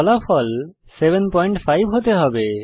ফলাফল 75 হতে হবে